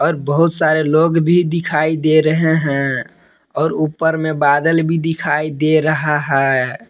और बहुत सारे लोग भी दिखाई दे रहे हैं और ऊपर में बादल भी दिखाई दे रहा है।